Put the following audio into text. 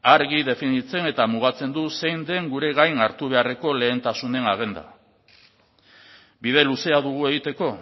argi definitzen eta mugatzen du zein den gure gain hartu beharreko lehentasunen agenda bide luzea dugu egiteko